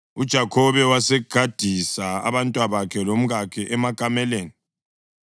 UJakhobe wasegadisa abantwabakhe labomkakhe emakameleni,